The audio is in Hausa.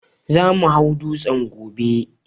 Za mu hau dutsen gobe